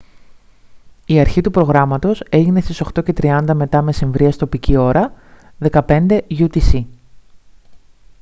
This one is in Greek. η αρχή του προγράμματος έγινε στις 8:30 μ.μ. τοπική ώρα 15:00 utc